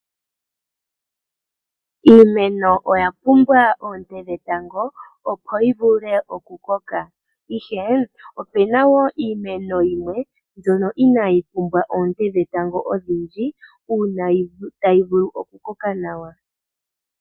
Iimeno oya pumbwa oonte dhetango opo yi vule okukoka. Ihe opena wo iimeno yimwe mbyono inaayi pumbwa oonte dhetango odhindji uuna tayi vulu okukoka nawa.